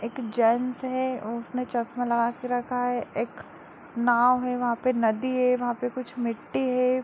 एक जेंट्स है उसने चश्मा लगा के रखा है एक नाव है वहाँ पे नदी है वहाँ पे कुछ मिट्टी है।